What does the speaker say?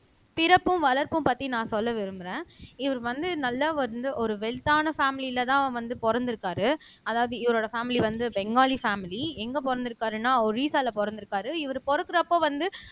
பிறப்பும் வளர்ப்பும் பத்தி நான் சொல்ல விரும்புறேன் இவரு வந்து நல்லா வந்து ஒரு வெல்த்தான பேமிலிலதான் வந்து பொறந்திருக்காரு அதாவது இவரோட பேமிலி வந்து பெங்காலி பேமிலி எங்க பொறந்திருக்காருன்னா அவரு வீசால பொறந்திருக்காரு இவரு பொறந்தப்ப வந்து